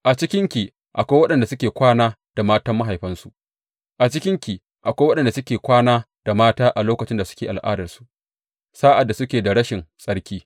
A cikinki akwai waɗanda suke kwana da matan mahaifansu; a cikinki akwai waɗanda suke kwana da mata a lokacin da suke al’adarsu, sa’ad da suke da rashin tsarki.